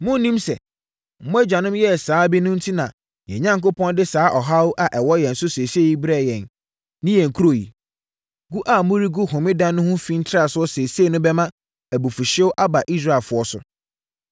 Monnim sɛ mo agyanom yɛɛ saa bi no enti na yɛn Onyankopɔn de saa ɔhaw a ɛwɔ yɛn so seesei yi brɛɛ yɛn ne yɛn kuro yi? Gu a moregu Homeda no ho fi ntrasoɔ seesei no bɛma abufuhyeɛ aba Israelfoɔ so.”